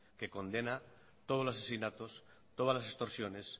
que condena todos los asesinatos todas las extorsiones